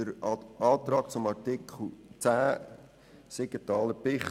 Den Antrag Siegenthaler/Bichsel zu Artikel 10 Absatz 2